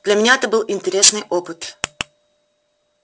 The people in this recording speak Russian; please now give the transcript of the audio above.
для меня это был интересный опыт